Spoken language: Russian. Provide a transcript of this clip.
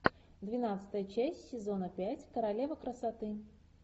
двенадцатая часть сезона пять королева красоты